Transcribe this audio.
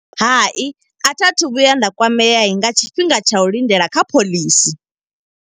Hai a tha thu vhuya nda kwamea, nga tshifhinga tsha u lindela kha phoḽisi.